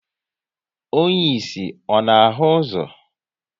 Onye ịsị, ọ na ahụ ụzọ?